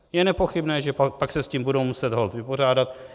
Je nepochybné, že pak se s tím budou muset holt vypořádat.